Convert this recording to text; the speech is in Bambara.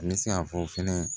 An bɛ se ka fɔ fɛnɛ